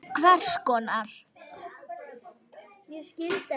Hvers konar.